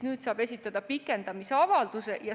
Nüüd saab esitada pikendamise avalduse.